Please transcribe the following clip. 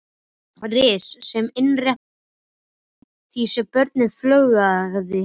Ris sem innréttað var eftir því sem börnum fjölgaði.